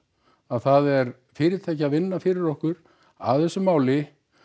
að það er fyrirtæki að vinna fyrir okkur að þessu máli